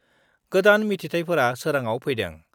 गोदान मिथिथायफोरा सोराङाव फैदों।